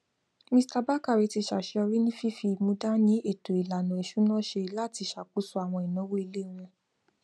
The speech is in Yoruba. mr bakare ti ṣàṣeyọrí ní fífi ìmúdàní ètò ìlànà iṣúná ṣe láti ṣàkóso àwọn ináwó ilé wọn